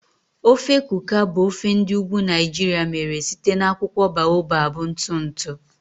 Ofe Kuka bụ ofe ndi ugwu Naijiria mere site na akwụkwọ baobab ntụ ntụ.